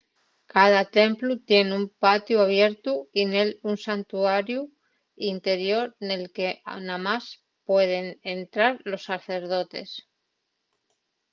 cada templu tien un patiu abiertu y nél un santuariu interior nel que namás pueden entrar los sacerdotes